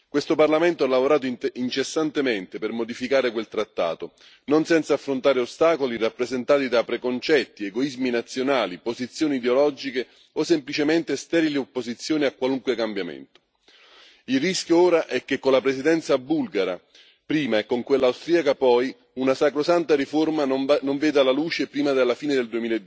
Questo Parlamento ha lavorato incessantemente per modificare quel trattato, non senza affrontare ostacoli rappresentati da preconcetti, egoismi nazionali, posizioni ideologiche o semplicemente sterile opposizione a qualunque cambiamento. Il rischio ora è che, con la Presidenza bulgara prima e con quella austriaca poi, una sacrosanta riforma non veda la luce prima della fine del